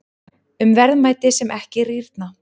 Um verðmæti sem ekki rýrna.